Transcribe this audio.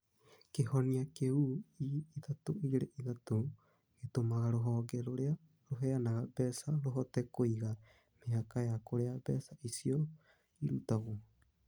Kĩhonia kĩu E323 gĩtũmaga rũhonge rũrĩa rũheanaga mbeca rũhote kũiga mĩhaka ya kũrĩa mbeca icio irutagwo.